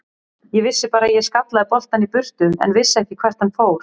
Ég vissi bara að ég skallaði boltann í burtu en vissi ekki hvert hann fór.